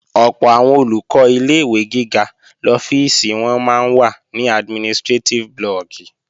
Ọ̀pọ̀ àwọn Olùkọ́ ilé-ìwé gíga lọ́fíìsì wọn máa ń wà ní administrétíf blọọ̀kì